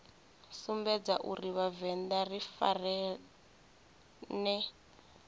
sumbedza uri vhavenḓa ri farane